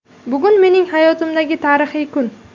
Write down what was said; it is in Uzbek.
Bugun mening hayotimdagi tarixiy kun.